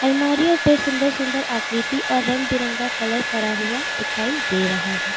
अलमारियों पे सुंदर सुंदर आकृति और रंग बिरंगा कलर करा हुआ दिखाई दे रहा है।